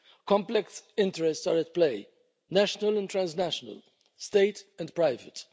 Complex interests are at play national and transnational, state and private.